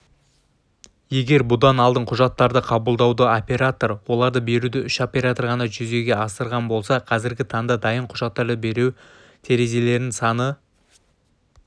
егер бұдан алдын құжаттарды қабылдауды оператор оларды беруді үш оператор ғана жүзеге асырған болса қазіргі таңда дайын құжаттарды беру терезелерінің саны